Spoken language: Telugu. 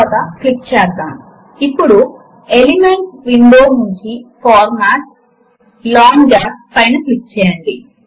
కాంటెక్స్ట్ మేను కూడా ఎలిమెంట్స్ విండో లో ఉన్నట్లుగా ఉన్న విభాగములలోని సింబాల్స్ నే డిస్ప్లే చేస్తుంది